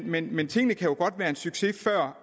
men men tingene kan godt være en succes før